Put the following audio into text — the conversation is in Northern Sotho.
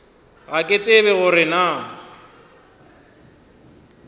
ga ke tsebe gore na